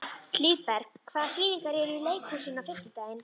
Hlíðberg, hvaða sýningar eru í leikhúsinu á fimmtudaginn?